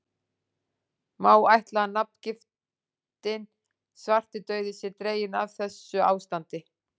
Má ætla að nafngiftin svartidauði sé dregin af þessu ástandi.